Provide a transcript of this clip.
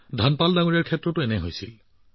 ধনপাল জীৰ লগতো তেনেকুৱা এটা ঘটনা ঘটিছিল